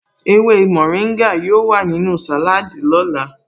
Ewé mórìngà yóò wà nínú sàláádì lọ́la